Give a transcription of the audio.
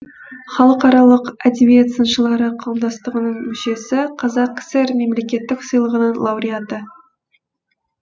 халыкаралық әдебиет сыншылары қауымдастығының мүшесі қазақ кср мемлекеттік сыйлығының лауреаты